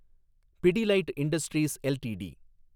Pidilite industries LTD